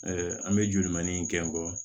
an bɛ joli maningɔ